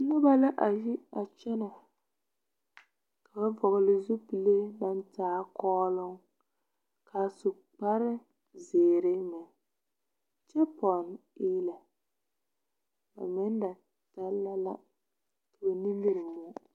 Noba la a yi a kyɛnɛ ka ba vɔgle zupile naŋ taa kɔɔloŋ ka a su kpare zeere meŋ kyɛ pɔnne eelɛ ba meŋ da danna la ka ba nimie moɔ.